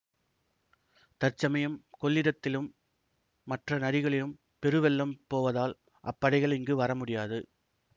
தற்சமயம் கொள்ளிடத்திலும் மற்ற நதிகளிலும் பெருவெள்ளம் போவதால் அப்படைகள் இங்கு வர முடியாது